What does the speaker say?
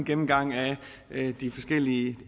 gennemgang af de forskellige